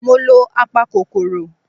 Mo lo apakòkòrò.